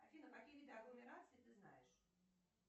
афина какие виды агломераций ты знаешь